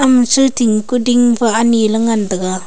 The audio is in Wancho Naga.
ama stui ting kuding pa ani ley ngantaga.